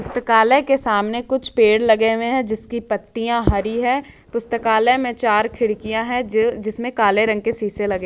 के सामने कुछ पेड़ लगे हुए हैं जिसकी पत्तियां हरी है पुस्तकालय में चार खिड़कियां है जो जिसमें काले रंग के शीशे लगे--